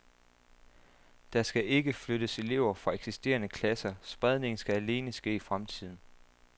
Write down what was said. Der skal ikke flyttes elever fra eksisterende klasser, spredningen skal alene ske i fremtiden.